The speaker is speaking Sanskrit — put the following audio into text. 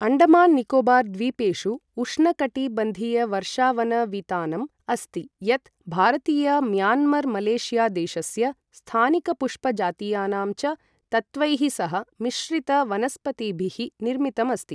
अण्डमान निकोबार द्वीपेषु उष्णकटिबंधीयवर्षावन वितानम् अस्ति, यत् भारतीय म्यांमार मलेशिया देशस्य, स्थानिक पुष्प जातीयानां च तत्त्वैः सह मिश्रित वनस्पतिभिः निर्मितम् अस्ति